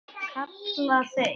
kalla þeir.